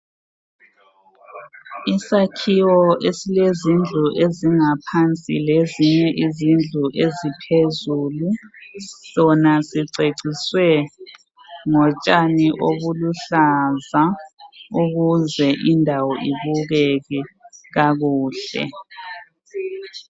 Isakhiwo esilezindlu ezingaphansi lezinye izindlu eziphezulu Sona siceciswe ngotshani obuluhlaza ukuze indawo ibukeke kakuhle.